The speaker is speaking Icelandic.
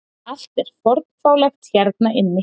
Allt er fornfálegt hérna inni.